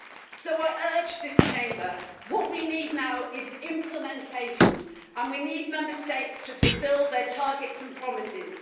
So I urge this Chamber what we need now is implementation, and we need Member States to fulfil their targets and promises.